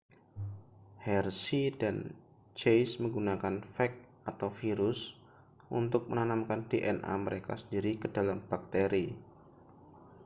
hershey dan chase menggunakan fag atau virus untuk menanamkan dna mereka sendiri ke dalam bakteri